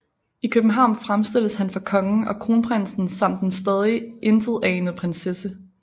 I København fremstilles han for kongen og kronprinsen samt den stadig intetanende prinsesse